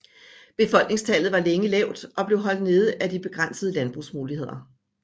Befolkningstallet var længe lavt og blev holdt nede af de begrænsede landbrugsmuligheder